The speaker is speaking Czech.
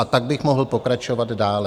A tak bych mohl pokračovat dále.